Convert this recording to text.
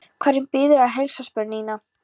Hverjum biðurðu að heilsa? spurði Nína.